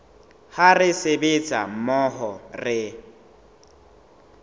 ha re sebetsa mmoho re